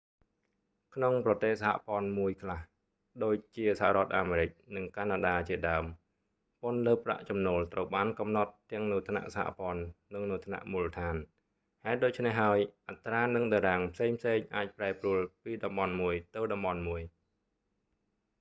ក្នុងប្រទេសសហព័ន្ធមួយខ្លះ ដូចជាសហរដ្ឋអាមេរិក និងកាណាដាជាដើម ពន្ធលើប្រាក់ចំណូលត្រូវបានកំណត់ទាំងនៅថ្នាក់សហព័ន្ធ និងនៅថ្នាក់មូលដ្ឋាន ហេតុដូច្នេះហើយ អត្រា និងតារាងផ្សេងៗអាចប្រែប្រួលពីតំបន់មួយទៅតំបន់មួយ